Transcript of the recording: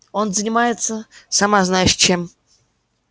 он занимается сама знаешь чем